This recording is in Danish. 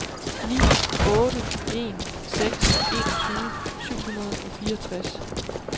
ni otte en seks enogtyve syv hundrede og fireogtres